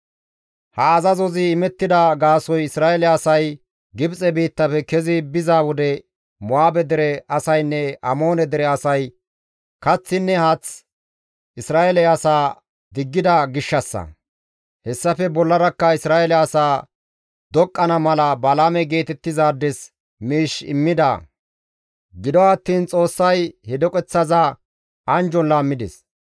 Ha azazozi imettida gaasoykka Isra7eele asay Gibxe biittafe kezi biza wode Mo7aabe dere asaynne Amoone dere asay kaththinne haath Isra7eele asaa diggida gishshassa; hessafe bollarakka Isra7eele asaa doqqana mala Balaame geetettizaades miish immida; gido attiin Xoossay he doqeththaza anjjon laammides.